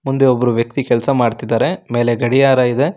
ಮುಂದೆ ಒಬ್ಬರು ವ್ಯಕ್ತಿ ಕೆಲಸ ಮಾಡ್ತಿದ್ದಾರೆ ಮೇಲೆ ಗಡಿಯಾರ ಇದೆ.